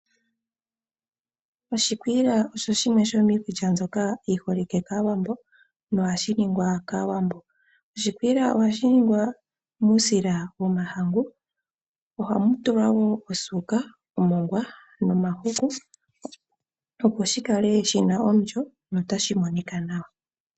Oshikwiila osho shimwe shomiikulya mbyoka yiholike kAawambo, nohashi ningwa kAawambo . Oshikwiila ohashi ningwa muusila womahangu . Ohamu tulwa wo osuuka, omongwa nomahuku, opo shikale shina omulyo notashi monika nawa.